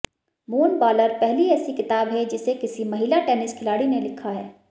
moon baller पहली ऐसी किताब है जिसे किसी महिला टेनिस खिलाड़ी ने लिखा है